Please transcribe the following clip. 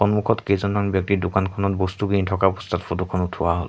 সন্মুখত কেইজনমান ব্যক্তি দোকানখনত বস্তু কিনি থকা অৱস্থাত ফটো খন উঠোৱা হ'ল।